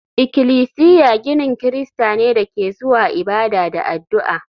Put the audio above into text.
Ikilisiya ginin Kirista ne da ke zuwa ibada da addu'a